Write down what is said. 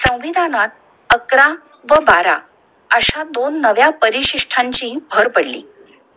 संविधानात अकरा व बारा अश्या दोन नव्या परिसिष्ठांची भर पडली!